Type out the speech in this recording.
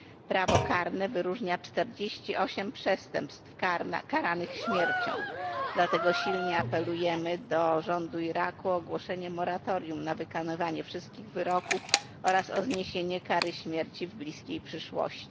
Prawo karne wyróżnia 48 przestępstw karanych śmiercią, dlatego silnie apelujemy do rządu Iraku o ogłoszenie moratorium na wykonywanie wszystkich wyroków oraz o zniesienie kary śmierci w bliskiej przyszłości.